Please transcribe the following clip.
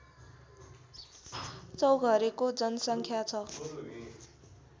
चौघरेको जनसङ्ख्या छ